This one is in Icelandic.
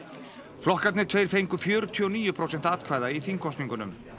flokkarnir tveir fengu fjörutíu og níu prósent atkvæða í þingkosningunum